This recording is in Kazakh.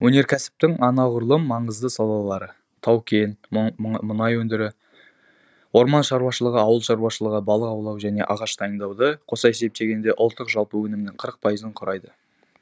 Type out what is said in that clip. өнеркәсіптің неғұрлым маңызды салалары тау кен мұнай өндіру орман шаруашылығы ауыл шаруашылығы балық аулау мен ағаш дайындауды қоса есептегенде ұлттық жалпы өнімнің қырық пайызын құрайды